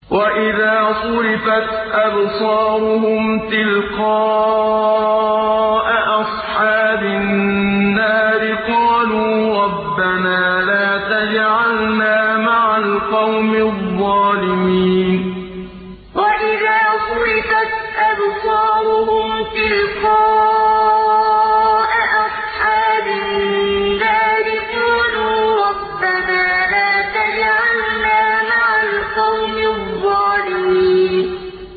۞ وَإِذَا صُرِفَتْ أَبْصَارُهُمْ تِلْقَاءَ أَصْحَابِ النَّارِ قَالُوا رَبَّنَا لَا تَجْعَلْنَا مَعَ الْقَوْمِ الظَّالِمِينَ ۞ وَإِذَا صُرِفَتْ أَبْصَارُهُمْ تِلْقَاءَ أَصْحَابِ النَّارِ قَالُوا رَبَّنَا لَا تَجْعَلْنَا مَعَ الْقَوْمِ الظَّالِمِينَ